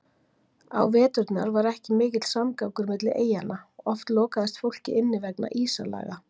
Á veturna var ekki mikill samgangur milli eyjanna, oft lokaðist fólkið inni vegna ísalaga.